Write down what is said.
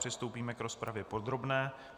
Přistoupíme k rozpravě podrobné.